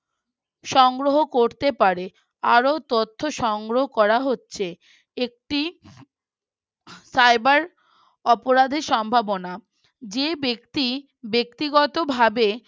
সংগ্রহ করতে পারে আরো তথ্য সংগ্রহ করা হচ্ছে একটি Cyber অপরাধের সম্ভাবনা যে ব্যক্তি ব্যক্তিগতভাবে